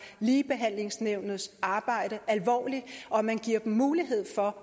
ligebehandlingsnævnets arbejde alvorligt og at man giver dem mulighed for